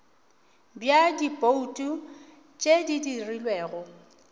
bja dibouto tše di dirilwego